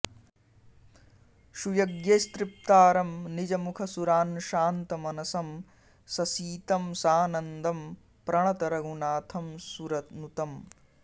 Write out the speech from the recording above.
सुयज्ञैस्तृप्तारं निजमुखसुरान् शान्तमनसं ससीतं सानन्दं प्रणत रघुनाथं सुरनुतम्